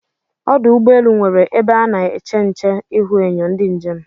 Ọdụ ụgbọelụ nwere ebe ana èché ǹché ihuenyo ndị njem